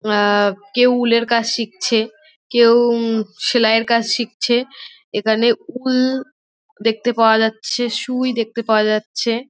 আ-আ কেউ উলের কাজ শিখছে কেউ সেলাইয়ের কাজ শিখছে। এইখানে উল দেখতে পায় যাচ্ছে। সুই দেখতে পাওয়া যাচ্ছে।